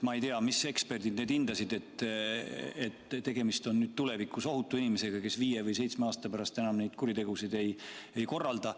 Ma ei tea, mis eksperdid seda hindasid, et tegemist on tulevikus ohutu inimesega, kes viie või seitsme aasta pärast enam neid kuritegusid ei soorita.